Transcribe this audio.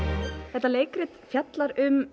þetta leikrit fjallar um